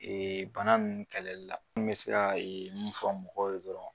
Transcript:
bana nunnu kɛlɛli la n bɛ se ka mun fɔ mɔgɔw ye dɔrɔn